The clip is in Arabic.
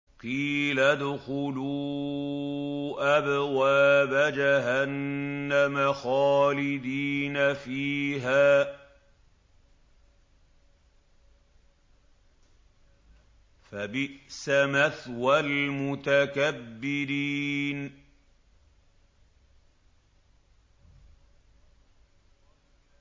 قِيلَ ادْخُلُوا أَبْوَابَ جَهَنَّمَ خَالِدِينَ فِيهَا ۖ فَبِئْسَ مَثْوَى الْمُتَكَبِّرِينَ